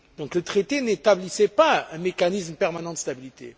Le traité n'établissait pas un mécanisme permanent de stabilité.